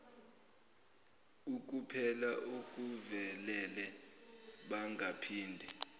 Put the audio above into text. ukupela okuvelele bangaphinde